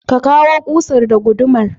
ka kawu ƙusar da gudumar.